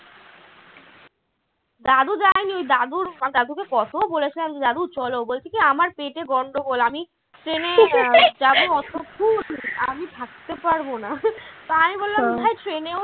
দাদু যায়নি ওই দাদুর দাদুকে কত বলেছিলাম দাদু চল। বলছে কী আমার পেটে গন্ডগোল আমি train যাব অতদূর আমি থাকতে পারবো না তা আমি বললাম train এও